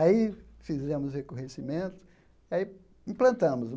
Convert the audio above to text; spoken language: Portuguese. Aí fizemos o recorrecimento, aí implantamos.